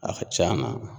A ka ca na